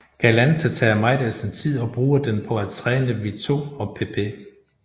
Galante tager meget af sin tid og bruger den på at træne Vito og Pepe